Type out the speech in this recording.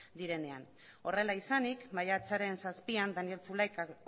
direnean horrela izanik maiatzaren zazpian daniel zulaikak